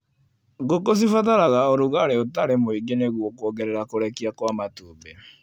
Ngũkũ cibataraga ũrugarĩ ũtarĩ mũingĩ nĩguo kuongerera kũrekia kwa matumbĩ.